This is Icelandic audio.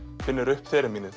finnur upp